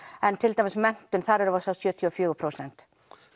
en til dæmis menntun þar erum við að sjá sjötíu og fjögur prósent